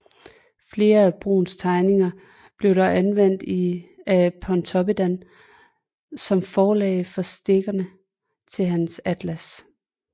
Flere af Bruuns tegninger blev dog anvendt af Pontopiddan som forlæg for stikkene til hans atlas